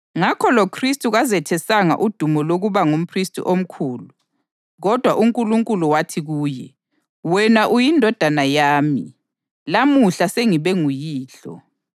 Ngakho loKhristu kazethesanga udumo lokuba ngumphristi omkhulu. Kodwa uNkulunkulu wathi kuye, “Wena uyiNdodana yami; lamuhla sengibe nguYihlo.” + 5.5 AmaHubo 2.7